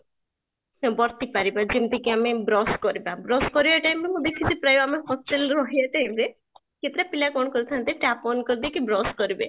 ବର୍ତି ପାରିବା ଯେମିତିକି ଆମେ brush କରିବା, brush କରିବା time ରେ ଆମେ ଦେଖିଛେ ପ୍ରାୟ ଆମେ hostel ରହିବା time ରେ କେତେ ଟା ପିଲା କ'ଣ କରିଥାନ୍ତି tap on କରିଦେଇକି brush କରିବେ